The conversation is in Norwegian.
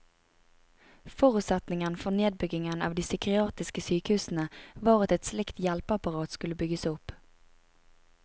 Forutsetningen for nedbyggingen av de psykiatriske sykehusene var at et slikt hjelpeapparat skulle bygges opp.